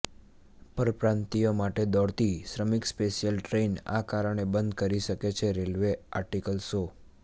પરપ્રાંતિયો માટે દોડતી શ્રમિક સ્પેશિયલ ટ્રેન આ કારણે બંધ કરી શકે છે રેલવે આર્ટિકલ શો